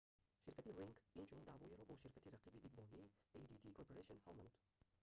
ширкати ring инчунин даъвоеро бо ширкати рақиби дидбонии adt corporation ҳал намуд